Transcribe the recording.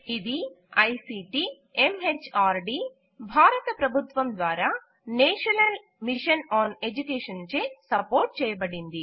ఇది ICT MHRD భారత ప్రభుత్వం ద్వారా నేషనల్ మిషన్ ఆన్ ఎడ్యుకేషన్చే సపోర్ట్ చేయబడినది